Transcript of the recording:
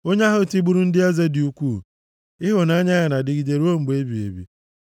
Onye ahụ tigburu ndị eze dị ukwuu, Ịhụnanya ya na-adịgide ruo mgbe ebighị ebi.